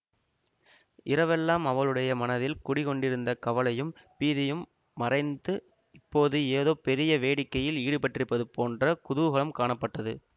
இரவெல்லாம் அவளுடைய மனத்தில் குடிகொண்டிருந்த கவலையும் பீதியும் மறைந்து இப்போது ஏதோ பெரிய வேடிக்கையில் ஈடுபட்டிருப்பது போன்ற குதூகலம் காணப்பட்டது